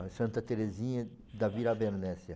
Santa Teresinha da Vila Bernécia.